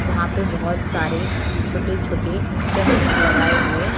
जहाँ पे बहोत सारे छोटे-छोटे टेंट लगाए हुए --